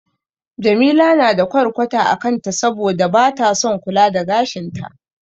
Jamila na da ƙwarƙwata a kanta saboda bata son kula da gashin ta.